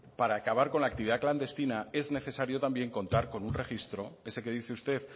para acabar con la actividad clandestina es necesario también contar un registro ese que dice usted